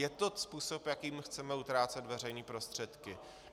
Je to způsob, jakým chceme utrácet veřejné prostředky?